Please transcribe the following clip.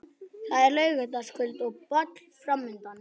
Það er laugardagskvöld og ball framundan.